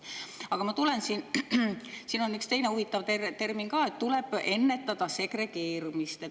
Aga siin on üks teine huvitav termin ka: tuleb ennetada segregeerumist.